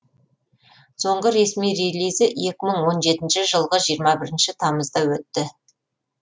соңғы ресми релизі екі мың он жетінші жылғы жиырма бірінші тамызда өтті